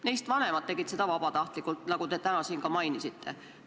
Neist vanemad tegid seda vabatahtlikult, nagu te täna siin ka mainisite.